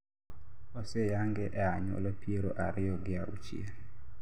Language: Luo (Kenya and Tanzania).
oseyange e anyuola piero ariyo gi auchiel